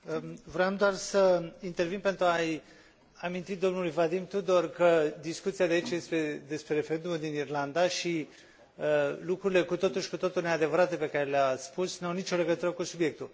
Vroiam doar să intervin pentru a i aminti domnului Vadim Tudor că discuția de aici este despre referendumul din Irlanda și lucrurile cu totul și cu totul neadevărate pe care le a spus nu au nicio legătură cu subiectul.